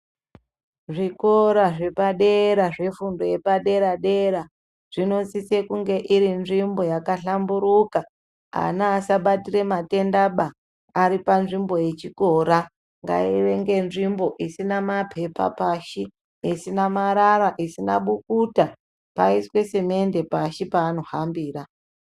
Zvikora zvepadera zvefundo yepaderadera zvinosiso kunge iri nzvimbo yakahlamburuka, ana asabatira matendaba ari panzvimbo yechikora ngainge iri nzvimbo isina mapepa isina marara isina bukuta, paiswe semende pashi paanohambira.